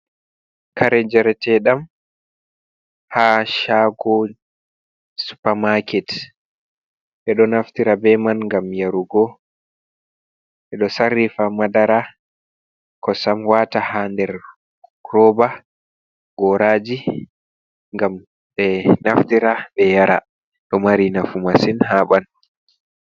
Kare njareteɗam ha shago supamaket. ɓedo naftira beman ngam yarugo, ɓeɗo sarrifa madara, kosam wata hander roba, goraji, ngam ɓe naftira ɓe yara. ɗo mari nafu masin haɓandu.